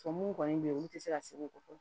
Tɔ mun kɔni bɛ yen olu tɛ se ka segin ko fɔ